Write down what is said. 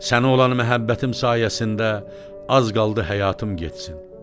Sənə olan məhəbbətim sayəsində az qaldı həyatım getsin.